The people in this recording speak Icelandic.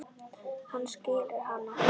Hann skilur hana.